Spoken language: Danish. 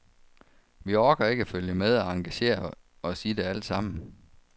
Vi orker ikke at følge med og engagere os i det alt sammen.